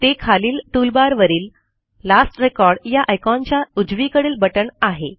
ते खालील टूलबारवरील लास्ट रेकॉर्ड या आयकॉनच्या उजवीकडील बटण आहे